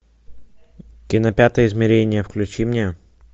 кино пятое измерение включи мне